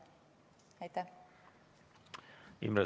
Aitäh!